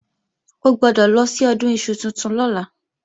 O gbọ́dọ̀ lọ sí Ọdún iṣu tuntun lọ́la